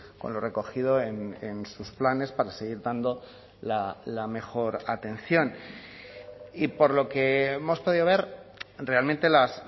con lo recogido en sus planes para seguir dando la mejor atención y por lo que hemos podido ver realmente las